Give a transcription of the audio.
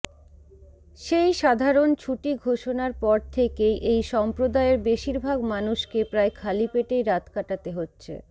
সেই সাধারণ ছুটি ঘোষণার পর থেকেই এই সম্প্রদায়ের বেশিরভাগ মানুষকে প্রায় খালিপেটেই রাত কাটাতে হচ্ছে